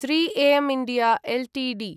३एम् India Ltd